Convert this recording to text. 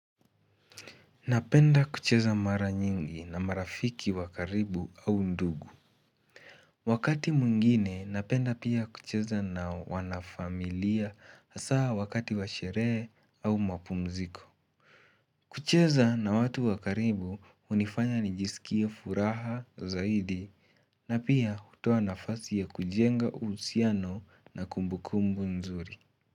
Napenda kucheza mara nyingi na marafiki wa karibu au ndugu Wakati mwingine napenda pia kucheza na wanafamilia asaa wakati wa sherehe au mapumziko kucheza na watu wa karibu hunifanya nijisikie furaha zaidi na pia hutoa nafasi ya kujenga uhusiano na kumbukumbu nzuri.